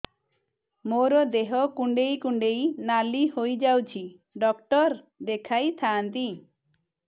ମୋର ଦେହ କୁଣ୍ଡେଇ କୁଣ୍ଡେଇ ନାଲି ହୋଇଯାଉଛି ଡକ୍ଟର ଦେଖାଇ ଥାଆନ୍ତି